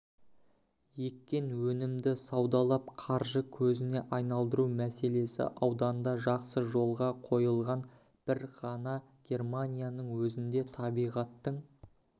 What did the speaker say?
еккен өнімді саудалап қаржы көзіне айналдыру мәселесі ауданда жақсы жолға қойылған бір ғана германияның өзінде табиғаттың